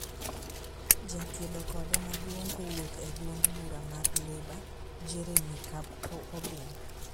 Jakedo kode maduong' kowuok e duond bura mar Labour, Jeremy Corbyn